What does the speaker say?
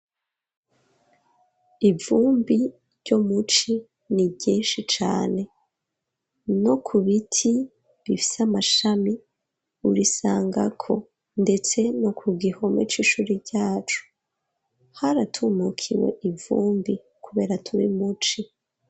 Ivumbi ryo muci ni ryinshi cane no ku biti bifise amashami urisangako ndetse no ku gihome c'ishuri ryacu haratumukiwe ivumbi kubera turi muci